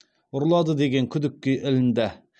ұрлады деген күдікке ілінді